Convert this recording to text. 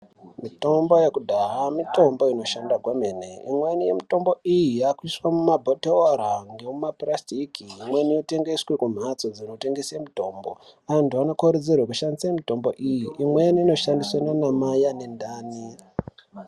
Mitombo yekudhaya mitombo inoshanda kwemene. Imweni yemitombo iyi, yaakuiswe mumabhothoro ngemumapurasitiki, Imweni yotengeswe kumhatso dzinotengese mitombo. Antu anokurudzirwe kushandise mitombo iyi. Imweni inoshandiswe naanamai ane ndani.